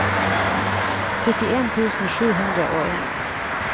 syttien tusen sju hundre og en